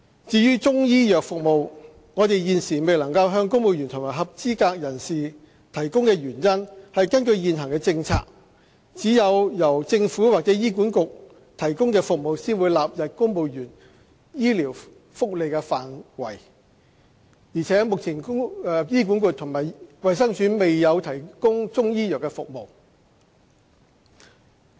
至於中醫藥服務，我們現時未能向公務員及合資格人士提供的原因是根據現行政策，只有由政府或醫管局提供的服務才會納入公務員醫療福利範圍，而目前醫管局及衞生署未有提供中醫藥服務。